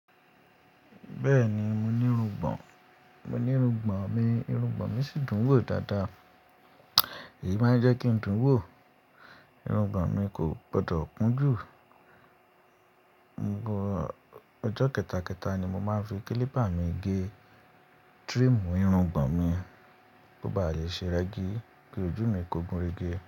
Bẹ́ẹ̀ni, mo ní irungbọ̀n, mo ní irungbọ̀n mi, irungbọ̀n mi sì dùn wò dáadáa. Èyí máa ń jẹ́ kí n dùn wò, irungbọ̀n mi kò gbọdọ̀ kún jù. Ọ̀n gbọ̀, ọjọ́ kẹ́tàkẹ́tà ni mo máa ń fi klípà mi gé trim irungbọ̀n mi bó bá yè ṣe rẹ́gí kí ojú mi kó gun rege.